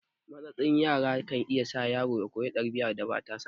Matsatsin tsara kan iya sa yaro ya koyi ɗabi'ar da ba tasa ba